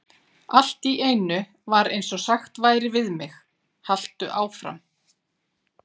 Allt í einu var eins og sagt væri við mig: Haltu áfram.